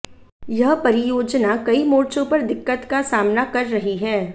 यह परियोजना कई मोर्चों पर दिक्कत का सामना कर रही है